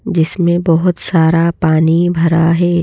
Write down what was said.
जिसमें बहुत सारा पानी भरा हैं।